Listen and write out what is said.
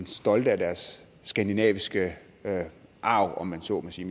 stolte af deres skandinaviske arv om man så må sige